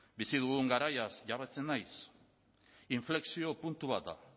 bizi dugun garaiaz jabetzen naiz inflexio puntu bat da